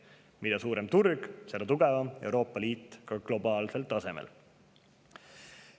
Mida suurem on turg, seda tugevam on Euroopa Liit ka globaalsel tasemel.